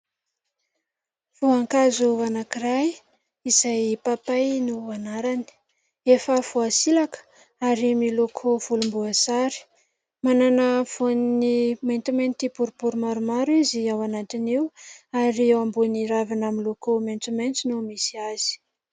Voankazo anankiray izay papay no anarany, efa voasilaka ary miloko volomboasary, manana voany maintimainty boribory maromaro izy ao anatin'io ary eo ambony ravina miloko maitsomaitso no misy azy.